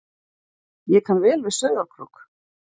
Ég kann vel við Sauðárkrók.